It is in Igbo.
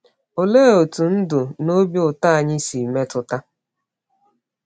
Olee otú ndụ na obi ụtọ anyị si metụta?